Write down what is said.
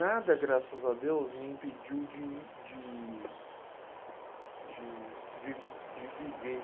Nada, graças a Deus, me impediu de de de viv de viver.